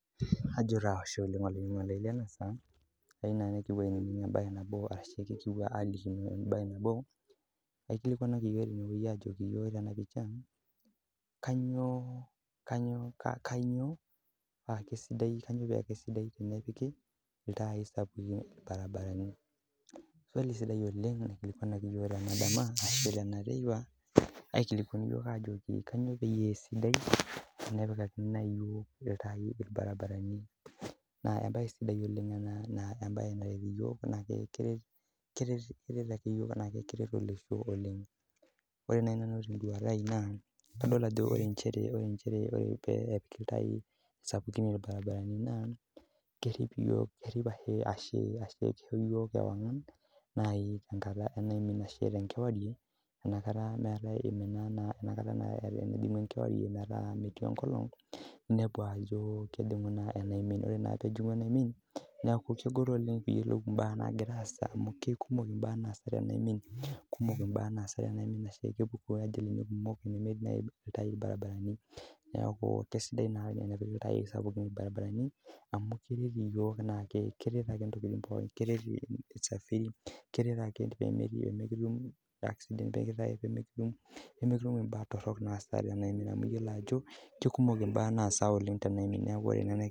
Ajo taa Ashe oleng olainining'oni lai Lena saa ayieu naaji nikipuo ainining mbae nabo arashu kipuo aliki mbae nabo naikilikuanaki iyiok ajoki iyiok Tena pisha kainyio paa kaisidai tenepiki ilntai sapukin irbaribarani swali sidai oleng naikilikuanaki iyiok tena dama arasahu tena teipa aikilikuanu iyiok Ajo kainyio paa sidaitenepikakini iyiokg ore naaji teduata ai naa kadol Ajo ore njere peyie epikakini iyiok ilntai sapukin irbaribarani naa kerip iyiok ashu iyiok ewang'am tenaimin tenkewarie enaa kataa naa tenaimin enkolog metijing'u tenaimin enepu Ajo ore naa pejing'u tenaimin naa kegol oleng duo oleng piyiolou mbaa nagira asaa amu kikumok mbaa nagira asaa tenaimin kepuko ajali kumok naaji tenemetii ilntai irbaribarani neeku kaisidai tenepiki ilntai irbaribarani amu keret iyiok pookin amu keret usafiri keret ake iyiok pee mikitum accident keret iyiok pee mikitum mbaa torok naasi tenaimin amu iyiolo kikumok mbaa naasa oleng tenaimin neeku oree naaji